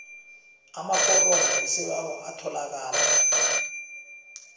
amaforomo wesibawo atholakala